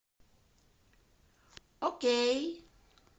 окей